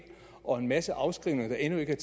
og en masse afskrivninger der endnu ikke er